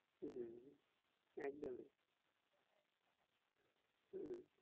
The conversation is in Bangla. হম একদমই হম